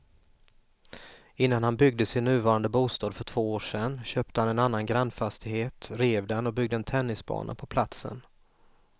Innan han byggde sin nuvarande bostad för två år sedan köpte han en annan grannfastighet, rev den och byggde en tennisbana på platsen.